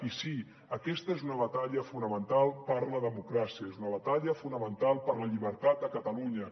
i sí aquesta és una batalla fonamental per la democràcia és una batalla fonamental per la llibertat a catalunya